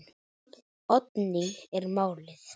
Oddný er málið.